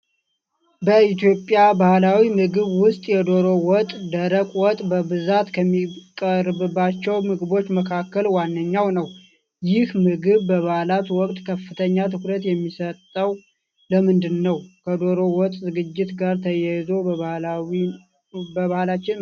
በኢትዮጵያ ባህላዊ ምግብ ውስጥ፣ የዶሮ ወጥ (ደረቅ ወጥ) በብዛት ከሚቀርብባቸው ምግቦች መካከል ዋነኛው ነው። ይህ ምግብ በበዓላት ወቅት ከፍተኛ ትኩረት የሚሰጠው ለምንድን ነው? ከዶሮ ወጥ ዝግጅት ጋር ተያይዞ በባህላችን ምን ዓይነት ልዩ ልማዶች አሉ?